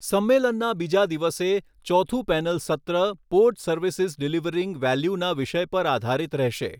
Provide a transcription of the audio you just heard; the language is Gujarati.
સંમેલનના બીજા દિવસે, ચોથુ પેનલ સત્ર પોર્ટ સર્વિસિઝ ડિલિવરિંગ વેલ્યૂના વિષય પર આધારિત રહેશે.